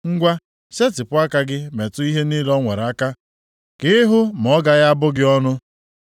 Ngwa, setịpụ aka gị metụ ihe niile o nwere aka, ka ị hụ ma ọ gaghị abụ gị ọnụ.”